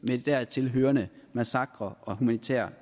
de dertil hørende massakrer og humanitære